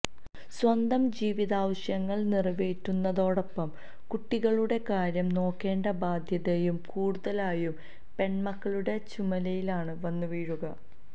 സ്വന്തം ജീവിതാവശ്യങ്ങള് നിറവേറ്റുന്നതോടൊപ്പം കുട്ടികളുടെ കാര്യം നോക്കേണ്ട ബാദ്ധ്യതയും കൂടുതലായും പെണ്മക്കളുടെ ചുമലിലാണ് വന്നുവീഴുക